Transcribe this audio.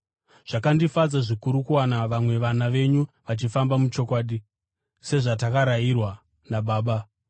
Zvakandifadza zvikuru kuwana vamwe vana venyu vachifamba muchokwadi, sezvatakarayirwa naBaba.